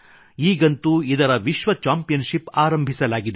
ಈಗಂತೂ ಇದರ ವಿಶ್ವ ಚಾಂಪಿಯನ್ ಶಿಪ್ ಆರಂಭಿಸಲಾಗಿದೆ